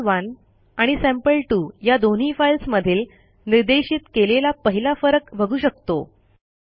sample1 आणि sample two या दोन्ही फाईल्समधील निर्देशित केलेला पहिला फरक बघू शकतो